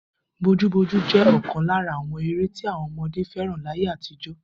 Bojúbojú jé̩ ò̩kan lára àwo̩n eré tí àwo̩n o̩mo̩dé fé̩ràn láyé àtijó̩